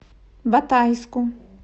батайску